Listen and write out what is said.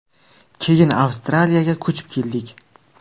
Keyin Avstraliyaga ko‘chib keldik.